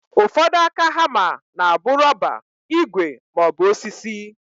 Ụfọdụ aka hama na abụ rọba, igwe maọbụ osisi.